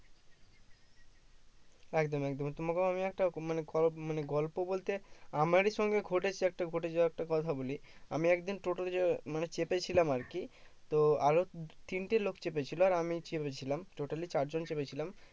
একদম একদম তোমাকেও আমি একটা মানে গ মানে গল্প বলতে আমারি সঙ্গে ঘটেছে একটা ঘটে যাওয়া একটা কথা বলি আমি একদিন টোটো চ মানে চেপেছিলাম আর কি তো আরো তিনটে লোক চেপেছিল আর আমি চেপেছিলাম totally চার জন চেপেছিলাম